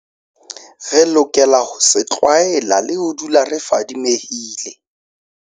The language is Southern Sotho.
Re lokela ho se tlwaela le ho dula re fadimehile.